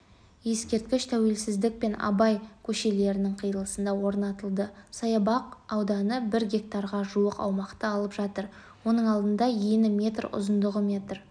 ескерткіш тәуелсіздік пен абай көшелерінің қиылысында орнатылды саябақтың ауданы бір гектарға жуық аумақты алып жатыр оның алдында ені метр ұзындығы метр